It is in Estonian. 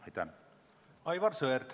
Aivar Sõerd, palun!